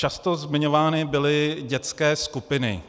Často zmiňovány byly dětské skupiny.